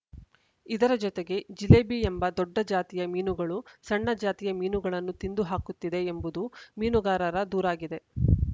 ಇದರ ಜೊತೆಗೆ ಜಿಲೇಬಿ ಎಂಬ ದೊಡ್ಡ ಜಾತಿಯ ಮೀನುಗಳು ಸಣ್ಣ ಜಾತಿಯ ಮೀನುಗಳನ್ನು ತಿಂದು ಹಾಕುತ್ತಿದೆ ಎಂಬುದು ಮೀನುಗಾರರ ದೂರಾಗಿದೆ